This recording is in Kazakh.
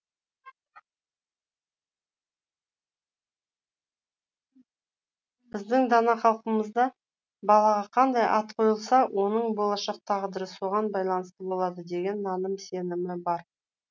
біздің дана халқымызда балаға қандай ат қойылса оның болашақ тағдыры соған байланысты болады деген наным сенімі бар